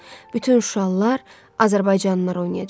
Bütün Şuşalılar, Azərbaycanlılar oynayacaq.